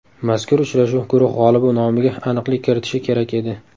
Mazkur uchrashuv guruh g‘olibi nomiga aniqlik kiritishi kerak edi.